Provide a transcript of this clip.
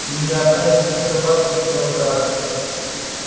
и ни одна из этих собак не умела драться